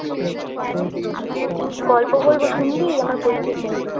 গল্প বলব শুনবি আমার বই থেকে